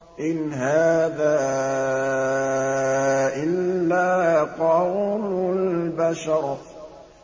إِنْ هَٰذَا إِلَّا قَوْلُ الْبَشَرِ